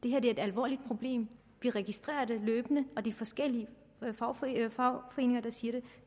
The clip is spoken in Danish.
er et alvorligt problem vi registrerer det løbende det er forskellige fagforeninger fagforeninger der siger det